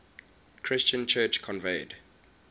christian church convened